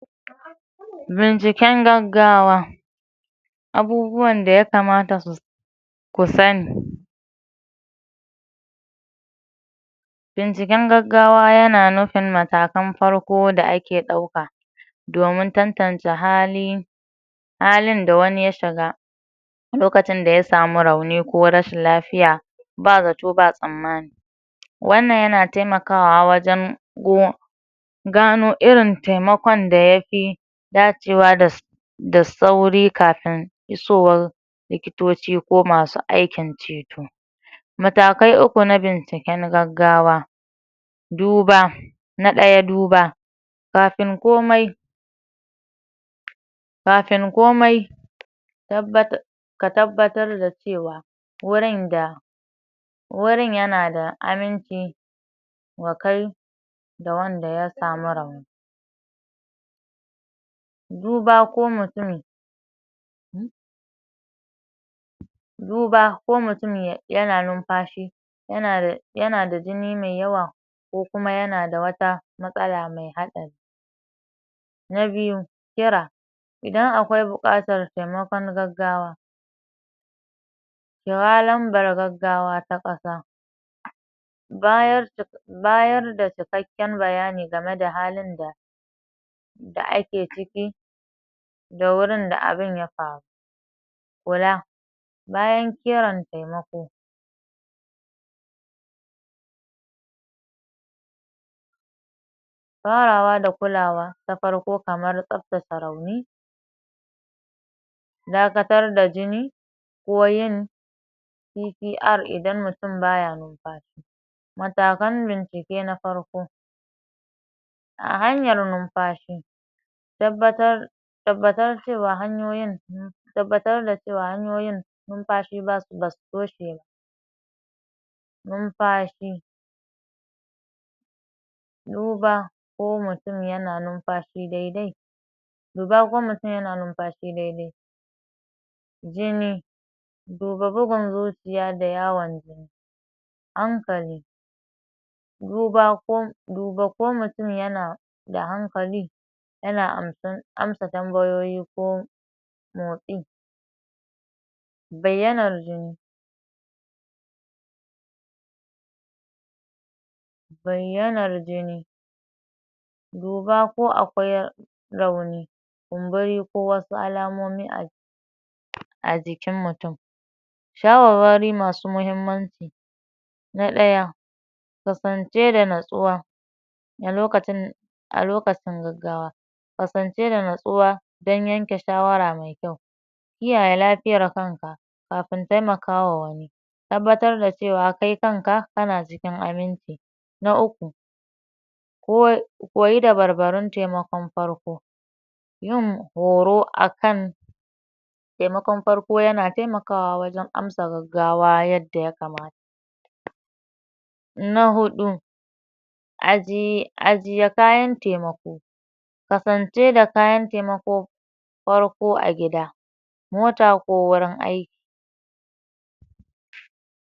Binciken gaggawa abubuwan da ya kamata ku sani binciken gaggawa Yana nufin matakan farko da ake dauka domin tantance halin da wani ya shiga a Lokacin da ya Sami rauni ko rashin lafiya ba zato ba tsammani. Wannan Yana taimakawa wajan gano irin taimakon da yafi dacewa da sauri kafin isowar likitoci ko masu aikin ceto. Matakai uku na binci kyan gaggawa na daya duba kafin komai ka tabbatar da cewa wurin Yana da aminci wa Kai da Wanda ya Sami rauni. duba ko mutun Yana numfashi Yana da jini Mai yawa ko Kuma Yana da wata matsala Mai hadari.na biyu kira idan akwai bukatar taimakon gaggawa kira lambar gaggawa ta kasa bayar da cikakkin bayani game da halin da ake ciki da wurin da abun ya faru.kula bayan kiran taimako farawa da kulawa ta farko kamar tsaftace rauni dakatar da jini ko yin (P.T.R) idan mutun baya numfashi matakan bincike na farko a hanyar numfashi tabbatar da cewa hanyoyin numfashi basu toshe ba. duba ko mutum Yana numfashi daidai. Jini duba bugun zuciya da yawan jini. hankali duba ko mutum Yana da hankali Yana amsa tambayoyi ko motsi.bayyanar jini duba ko akwai rauni kumburi ko wasu alamomi a jikin mutum. Shawarwari masu mahimmanci na daya kasance da nutsuwa a Lokacin gaggawa kasance da nutsuwa dan yanke shawara Mai kyau kiyaye lafiyar kanka kafin taimakawa wani tabbatar da cewa Kai kanka kana cikin aminci. na uku koye dabar barun farko yayin horo akan taimakon farko Yana taimakawa wajan amsa gaggawa a yanda ya kamata. na hudu ajje kayan taimako kasance da kayan taimakon farko a gida mota ko wurin aiki.